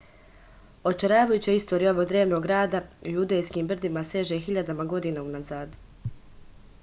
očaravajuća istorija ovog drevnog grada u judejskim brdima seže hiljadama godina unazad